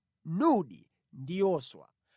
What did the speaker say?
Nuni ndi Yoswa.